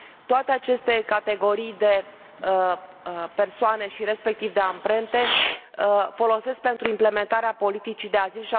Toate aceste categorii de persoane și, respectiv, de amprente folosesc pentru implementarea politicii de azil.